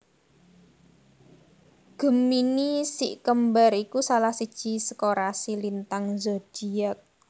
Gemini si kembar iku salah siji saka rasi lintang zodiak